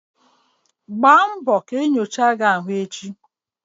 Gbaa mbọ ka ị mee Ule arụ echi!